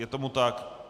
Je tomu tak.